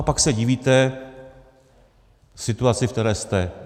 A pak se divíte situaci, v které jste.